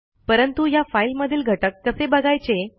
परंतु ह्या फाईलमधील घटक कसे बघायचे